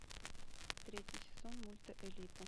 третий сезон мульта элита